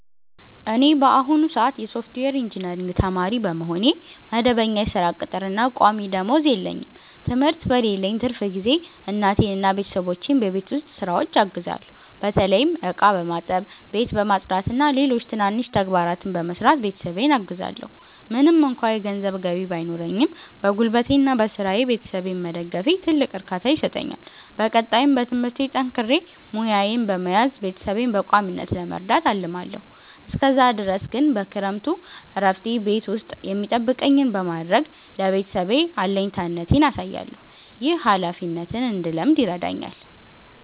እኔ በአሁኑ ሰአት የሶፍትዌር ኢንጂነሪንግ ተማሪ በመሆኔ፣ መደበኛ የሥራ ቅጥርና ቋሚ ደመወዝ የለኝም። ትምህርት በሌለኝ ትርፍ ጊዜ እናቴንና ቤተሰቦቼን በቤት ውስጥ ሥራዎች አግዛለሁ። በተለይም ዕቃ በማጠብ፣ ቤት በማጽዳትና ሌሎች ትናንሽ ተግባራትን በመስራት ቤተሰቤን አግዛለዎ። ምንም እንኳ የገንዘብ ገቢ ባይኖረኝም፣ በጉልበቴና በሥራዬ ቤተሰቤን መደገፌ ትልቅ እርካታ ይሰጠኛል። በቀጣይም በትምህርቴ ጠንክሬ ሙያዬን በመያዝ ቤተሰቤን በቋሚነት ለመርዳት አልማለዎ። እስከዛ ድረስ ግን በክረምቱ እረፍቴ ቤት ውስጥ የሚጠበቅብኝን በማድረግ ለቤተሰቤ አለኝታነቴን አሳያለሁ። ይህ ኃላፊነትን እንድለምድ ይረዳኛል።